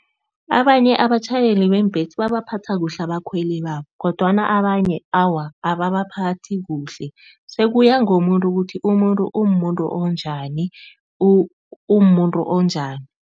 Abanye abatjhayeli beembesi babaphatha kuhle abakhweli babo kodwana abanye awa ababaphathi kuhle. Sekuya ngomuntu ukuthi umuntu, umumuntu onjani, umumuntu onjani.